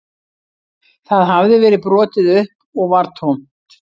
Það hafði verið brotið upp og var tómt